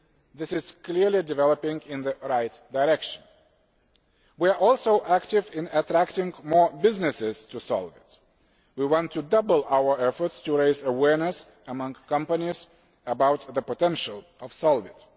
This is clearly developing in the right direction. We are also active in attracting more businesses to SOLVIT. We want to double our efforts to raise awareness among companies about the potential of SOLVIT.